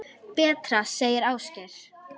Betra, segir Ásgeir.